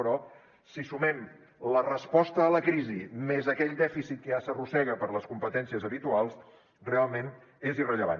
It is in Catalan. però si sumem la resposta a la crisi més aquell dèficit que ja s’arrossega per les competències habituals realment és irrellevant